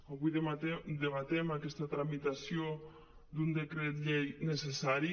avui debatem aquesta tramitació d’un decret llei ne·cessari